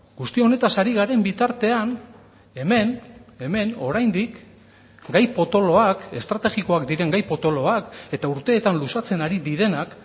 guzti honetaz ari garen bitartean hemen hemen oraindik gai potoloak estrategikoak diren gai potoloak eta urteetan luzatzen ari direnak